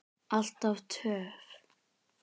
Alltaf töff.